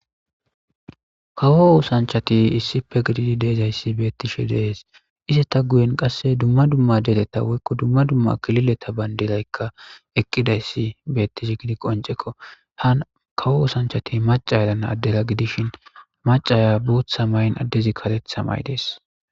kawo osanchati issife gididi deezayssi beettishe dees ize ta guyen qasse dumma dumma deleta woykko dumma dumma kilileta bayndiraykka eqqidayssi beettish gidi qoncekko ha kawo usanchati maca yerana addera gidishin macaya buutha mayn addezi karetha may dees